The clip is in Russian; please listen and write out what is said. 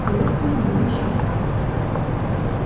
татуировки у неё ещё не было